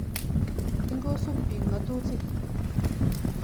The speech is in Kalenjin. Ingosup piik ng'atutik.